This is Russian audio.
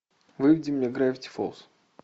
выведи мне графити фолз